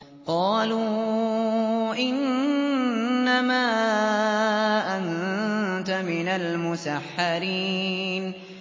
قَالُوا إِنَّمَا أَنتَ مِنَ الْمُسَحَّرِينَ